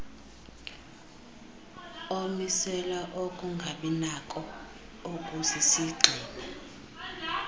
omisela ukungabinako okusisigxina